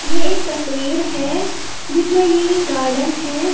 ये एक तस्वीर है जिसमें ये गार्डन है।